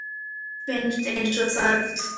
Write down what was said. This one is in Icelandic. Mér finnst eins og það hafi verið í gær.